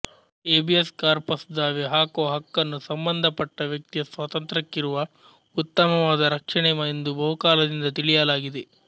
habeas corpus ದಾವೆ ಹಾಕುವ ಹಕ್ಕನ್ನು ಸಂಬಂಧಪಟ್ಟ ವ್ಯಕ್ತಿಯ ಸ್ವಾತಂತ್ರ್ಯಕ್ಕಿರುವ ಉತ್ತಮವಾದ ರಕ್ಷಣೆ ಎಂದು ಬಹುಕಾಲದಿಂದ ತಿಳಿಯಲಾಗಿದೆ